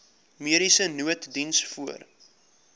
mediese nooddiens voor